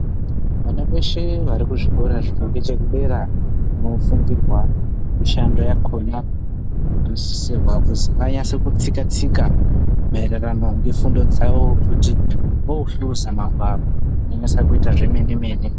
Vana veshe varikuzvikora zviringechekudera kunofundirwa mishando yakona vanosisirwa kuzi vanyatse kutsika tsika maererano nefundo dzawo kuti vohluza magwaro vanyatse kuita zvemene mene.